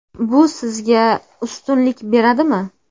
Bu sizga ustunlik beradimi?